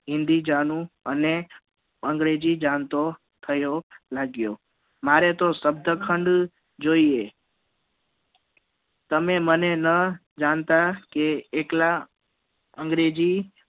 હિન્દી જાણું અને અંગ્રેજી જાણતો થયો લાગ્યો મારે તો સબ્દખંદ જોઈએ તમે મને ન જાણતા કે એકલા અંગ્રેજી